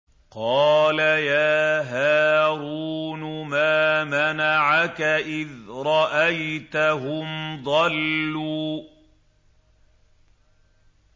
قَالَ يَا هَارُونُ مَا مَنَعَكَ إِذْ رَأَيْتَهُمْ ضَلُّوا